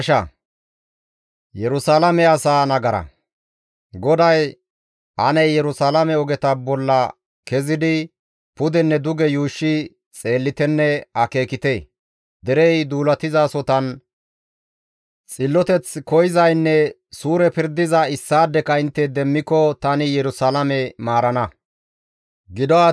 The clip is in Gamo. GODAY, «Ane Yerusalaame ogeta bolla kezidi pudenne duge yuushshi xeellitenne akeekite; derey duulatizasotan xilloteth koyzaynne suure pirdiza kezidi intte issaadeka demmiko tani Yerusalaame maarana.